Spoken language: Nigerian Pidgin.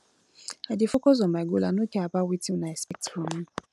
i dey focus on my goal i no care about wetin una expect from me